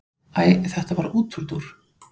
Æ þetta var útúrdúr.